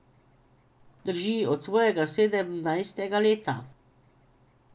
Drži, od svojega sedemnajstega leta.